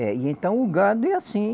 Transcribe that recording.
É, e então o gado é assim.